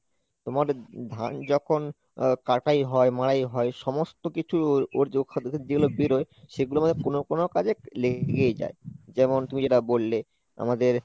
তোমার ধান যখন আহ কাটাই হয় মারাই হয় সমস্ত কিছু ওর যে খাদ্য যেগুলো বেরোয় সেগুলোর মধ্যে কোন কোন কাজে লে~ লেগেই যাই যেমন তুমি যেটা বললে আমাদের